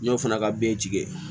N y'o fana ka bere